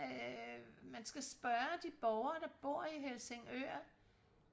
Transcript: øh man skal spørge de borgere der bor i Helsingør